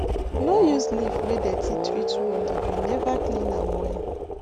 no use leaf wey dirty treat wound if you never clean am well